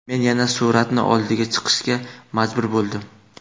Men yana Sur’atni oldiga chiqishga majbur bo‘ldim.